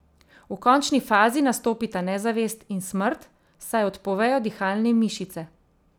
V končni fazi nastopita nezavest in smrt, saj odpovejo dihalne mišice.